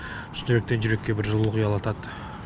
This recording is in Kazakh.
шын жүректен жүрекке бір жылулық ұялатады